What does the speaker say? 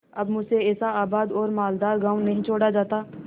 अब मुझसे ऐसा आबाद और मालदार गॉँव नहीं छोड़ा जाता